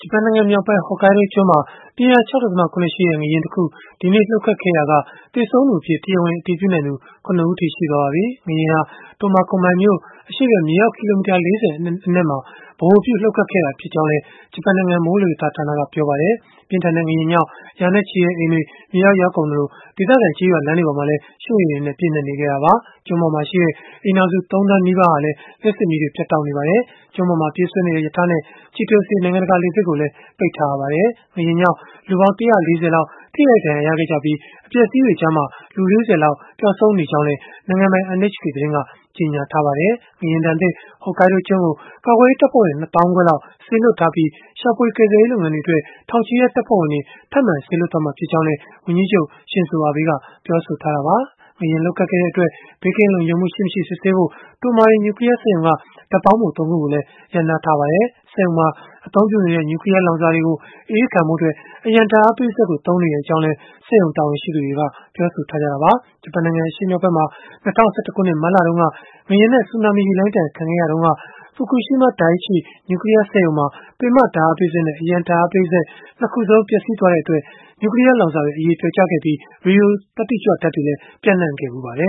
ပန်နိုင်ငံမြောက်ပိုင်း Hokkaido ကျွန်းမှာ ပြင်းအား ၆.၇ ရှိတဲ့ ငလျင်တခု ဒီနေ့လှုပ်ခတ်ခဲ့ရာက သေဆုံးသူအဖြစ် တရားဝင် အတည်ပြုနိုင်သူ ၇ ဦးအထိ ရှိသွားပါပြီ။ ငလျင်ဟာ Tomakomai မြို့ အရှေ့ဖက် မြေအောက် ကီလိုမီတာ ၄၀ အနက်မှာ ဗဟိုပြုလှုပ်ခတ်ခဲ့တာ ဖြစ်ကြောင်းလည်း ဂျပန်နိုင်ငံမိုးလေဝသဌာနက ပြောပါတယ်။ ပြင်းထန်တဲ့ ငလျင်ကြောင့် ရာနဲ့ချီတဲ့အိမ်တွေ မြေအောက်ရောက်ကုန်သလို၊ ဒေသခံကျေးရွာ လမ်းတွေပေါ်မှာလည်း ရွှံ့ရေတွေနဲ့ ပြည့်နှက်နေခဲ့တာပါ။ ကျွန်းပေါ်မှာရှိတဲ့ အိမ်ထောင်စု ၃ သန်းနီးပါးဟာလည်း လျှပ်စစ်မီးတွေ ပြတ်တောက်နေပါတယ်။ ကျွန်းပေါ်မှာ ပြေးဆွဲနေတဲ့ ရထားနဲ့ Chitose နိုင်ငံတကာ လေဆိပ်ကိုလည်း ပိတ်ထားရပါတယ်။ ငလျင်ကြောင့် လူပေါင်း ၁၄၀ လောက် ထိခိုက်ဒဏ်ရာ ရခဲ့ကြပြီး၊ အပျက်အစီးတွေကြားမှာ လူ ၄၀ လောက် ပျောက်ဆုံးနေကြောင်းလည်း နိုင်ငံပိုင် NHK သတင်းကကြေညာထားပါတယ်။ ငလျင်ဒဏ်သင့် Hokkaido ကျွန်းကို ကာကွယ်ရေးတပ်ဖွဲ့ဝင် ၂ သောင်းခွဲလောက် စေလွှတ်ထားပြီး၊ ရှာဖွေကယ်ဆယ်ရေး လုပ်ငန်းတွေအတွက် ထောင်ချီတဲ့တပ်ဖွဲ့ဝင်တွေ ထပ်မံစေလွှတ်သွားမှာ ဖြစ်ကြောင်းလည်း ဝန်ကြီးချုပ် Shinzo Abe ကပြောဆိုထားတာပါ။ ငလျင်လှုပ်ခဲ့တဲ့အတွက် ဘေးကင်းလုံခြုံမှုရှိမရှိ စစ်ဆေးဖို့ Tomari နျူကလီးယား စက်ရုံက ဓာတ်ပေါင်းဖို ၃ ခုကိုလည်း ရပ်နားထားပါတယ်။ စက်ရုံမှာအသုံးပြုနေတဲ့ နျူကလီးယားလောင်စာတွေကို အအေးခံဖို့အတွက် အရံဓာတ်အားပေးစက်ကို သုံးနေကြောင်းလည်း စက်ရုံတာဝန်ရှိသူတွေက ပြောဆိုထားတာပါ။ ဂျပန်နိုင်ငံ အရှေ့မြောက်ဖက်မှာ ၂၀၁၁ ခုနှစ် မတ်လတုန်းက ငလျင်နဲ့ဆူနာမီရေလှိုင်းဒဏ် ခံခဲ့ရစဉ်တုန်းက Fukushima Dai-ichi နျူကလီးယားစက်ရုံမှာ ပင်မဓာတ်အားပေးစက်နဲ့ အရံဓာတ်အားပေးစက် ၂ ခုစလုံး ပျက်စီးသွားခဲ့တဲ့အတွက် နျူကလီးယားလောင်စာတွေ အရည်ပျော်ကျခဲ့ပြီး၊ ရေဒီယိုသတ္တိကြွဓာတ်တွေလည်း ပျံ့နှံ့ခဲ့ပါတယ